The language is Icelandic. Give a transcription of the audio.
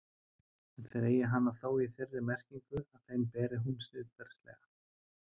En þeir eigi hana þó í þeirri merkingu að þeim beri hún siðferðilega.